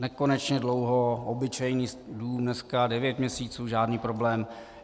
Nekonečně dlouho, obyčejný dům dneska devět měsíců, žádný problém.